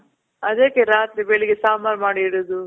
ಅದಕ್ಕೆ ರಾತ್ರಿ ಬೆಳಿಗ್ಗೆ ಸಾಂಬಾರ್ ಮಾಡಿರೋದು.